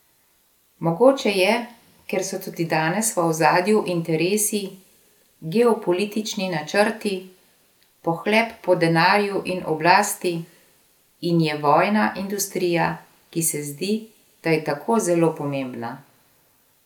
Mogoče je, ker so tudi danes v ozadju interesi, geopolitični načrti, pohlep po denarju in oblasti, in je vojna industrija, ki se zdi, da je tako zelo pomembna!